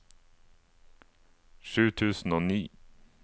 sju tusen og ni